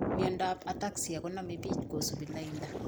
Miondap ataxia koname piich kosupi lainda